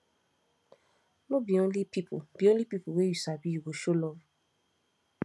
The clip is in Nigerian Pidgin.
no be only pipu be only pipu wey you sabi you go show love